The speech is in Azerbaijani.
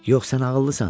Yox, sən ağıllısan.